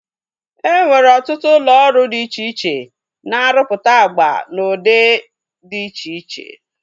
E nwere ọtụtụ ụlọ ọrụ dị iche iche na-arụpụta agba n'ụdị dị iche iche